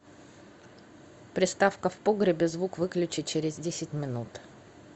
приставка в погребе звук выключи через десять минут